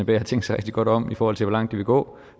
det har tænkt sig rigtig godt om i forhold til hvor langt de vil gå